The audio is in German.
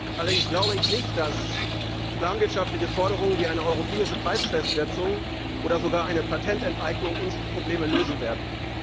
Allerdings glaube ich nicht, dass planwirtschaftliche Forderungen wie eine europäische Preisfestsetzung oder sogar eine Patententeignung unsere Probleme lösen werden.